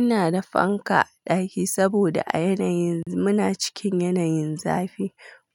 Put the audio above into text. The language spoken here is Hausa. Ina da fanka a ɗaki saboda a yanayin muna cikin yanayin zafi